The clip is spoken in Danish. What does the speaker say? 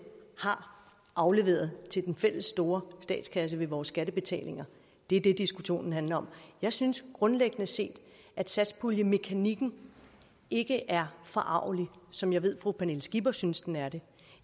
har afleveret til den fælles store statskasse ved vores skattebetalinger det er det diskussionen handler om jeg synes grundlæggende set at satspuljemekanikken ikke er forargelig som jeg ved fru pernille skipper synes den er det